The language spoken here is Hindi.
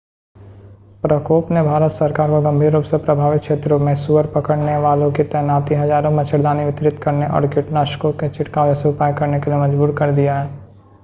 प्रकोप ने भारत सरकार को गंभीर रूप से प्रभावित क्षेत्रों में सुअर पकड़ने वालों की तैनाती हज़ारों मच्छरदानी वितरित करने और कीटनाशकों के छिड़काव जैसे उपाय करने के लिए मजबूर कर दिया है